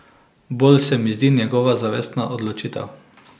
Bolj se mi zdi njegova zavestna odločitev.